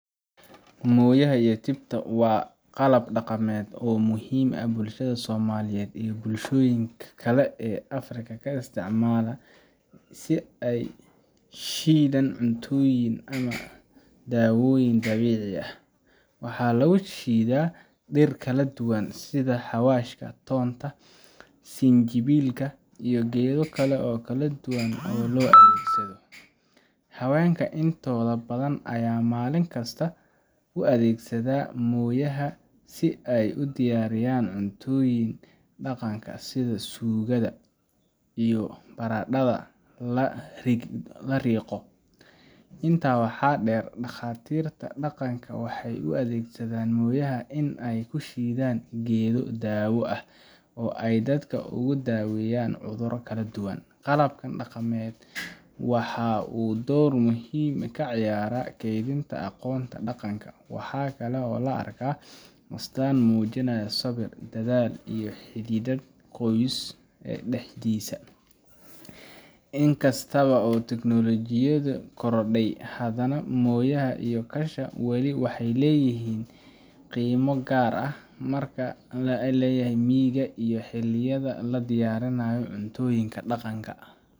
moyaha iyo tibta waa qalab dhaqameed muhiim ah oo bulshada Soomaaliyeed iyo bulshooyin kale oo Afrikaan ah ay isticmaalaan si ay u shiidaan cuntooyin ama daawooyin dabiici ah. Waxaa lagu shiidaa dhir kala duwan, sida xawaashka, toonka, sinjibilka, iyo geedo kale oo daawo ahaan loo adeegsado. Haweenka intooda badan ayaa maalin kasta u adeegsada moyaha si ay u diyaariyaan cuntooyinka dhaqanka sida suugada iyo baradhada la riiqo. Intaa waxaa dheer, dhakhaatiirta dhaqanka waxay u adeegsadaan moyaha in ay ku shiidaan geedo-daawo ah oo ay dadka uga daaweeyaan cudurro kala duwan. Qalabkan dhaqameed wuxuu door muhiim ah ka ciyaaraa kaydinta aqoonta dhaqanka, waxaana loo arkaa astaan muujinaysa sabir, dadaal, iyo xidhiidhka qoyska dhexdiisa. In kasta oo tiknoolajiyadu korodhay, haddana moyaha iyo kasha wali waxay leeyihiin qiimo gaar ah, gaar ahaan meelaha miyiga iyo xilliyada la diyaarinayo cuntooyinka dhaqanka.